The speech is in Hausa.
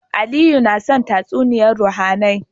Aliyu naya son tatsumiyar ruhAnai